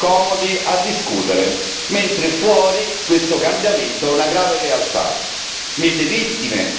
Siamo seduti qui da anni, comodi, a discutere, mentre fuori questo cambiamento è una grave realtà.